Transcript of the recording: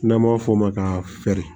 N'an b'a f'o ma fɛri